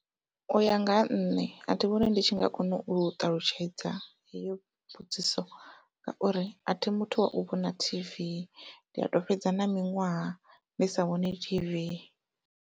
Uya nga ha nṋe athi vhoni ndi tshi nga kona u ṱalutshedza heyo mbudziso ngauri athi muthu wau vhona tv ndi ato fhedza na miṅwaha ndi sa vhoni t_v.